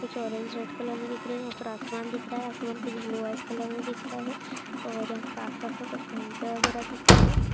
कुछ orange red colour में दिख रहा है ऊपर आसमान दिख रहा है आसमान कुछ ब्लू व्हाइट कलर में दिख रहा है और यहाँ पर आस-पास में कुछ कविता वगेरह दिख रही है।